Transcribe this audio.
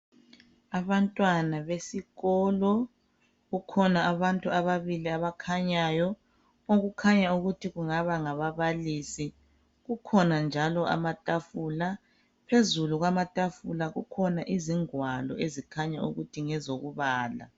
Abantwana besikolo kukhona abantu ababili abakhanyayo okukhanya ukuthi kungaba ngababalisi kukhona njalo amatafula. Phezulu kwamatafula kukhona izingwalo ezikhanya ukuthi ngezokubala